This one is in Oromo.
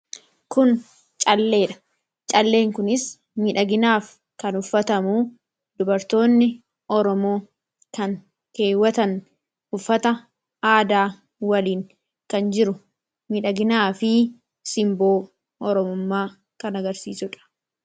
kun calleedha calleen kunis midhaginaaf kan uffatamu dubartoonni oromoo kan keewwatan uffata aadaa waliin kan jiru midhaginaa fi simboo oromummaa kan agarsiisudha